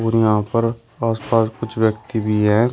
और यहां पर आसपास कुछ व्यक्ति भी हैं।